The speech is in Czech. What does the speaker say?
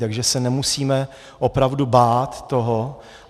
Takže se nemusíme opravdu bát toho.